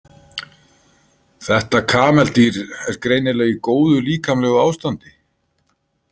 Þetta kameldýr er greinilega í góðu líkamlegu ástandi.